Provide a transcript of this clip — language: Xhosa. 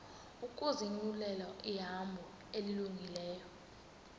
ukuzinyulela ihambo elungileyo